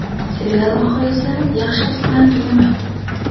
Serial oxiri esa yaxshilik bilan tugamaydi.